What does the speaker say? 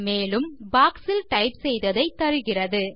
மேலும் பாக்ஸ் இல் டைப் செய்ததை தருகிறது